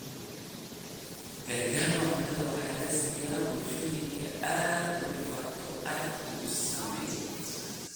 Gargaarka cuntada waxaa la siiyaa bulshooyinka ay dhibaatadu aadka u saameysay.